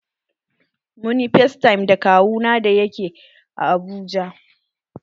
Mun ƴi factime da kawu na da ya ke Abuja.